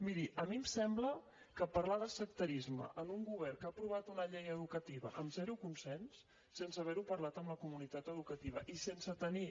miri a mi em sembla que parlar de sectarisme amb un govern que ha aprovat una llei educativa amb zero consens sense haver ho parlat amb la comunitat educativa i sense tenir